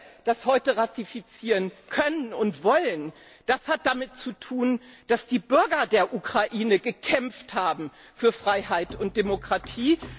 Dass wir das heute ratifizieren können und wollen, das hat damit zu tun, dass die Bürger der Ukraine gekämpft haben für Freiheit und Demokratie.